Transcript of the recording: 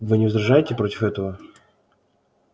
вы не возражаете против этого